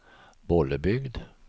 Bollebygd